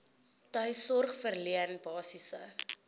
tuissorg verleen basiese